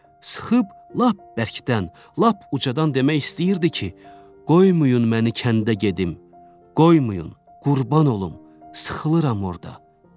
Sıxıb lap bərkdən, lap ucadan demək istəyirdi ki, qoymayın məni kəndə gedim, qoymayın, qurban olum, sıxılıram orda.